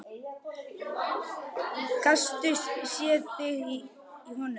Gastu séð þig í honum?